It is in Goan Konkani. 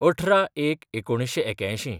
१८/०१/१९८१